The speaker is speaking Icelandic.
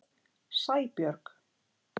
Sæbjörg